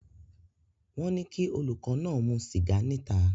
Wọ́n ní kí olùkọ́ náà mu sìgá níta